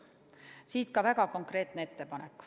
Siit ka väga konkreetne ettepanek.